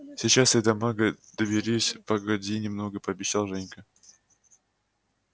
сейчас и до мага доберись погоди немного пообещал женька